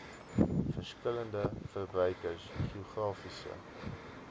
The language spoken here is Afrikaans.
verskillende verbruikers geografiese